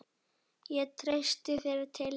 Ég treysti þér til þess.